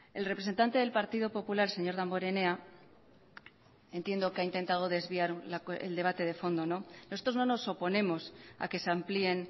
el representante del partido popular señor damborenea entiendo que ha intentado desviar el debate de fondo nosotros no nos oponemos a que se amplíen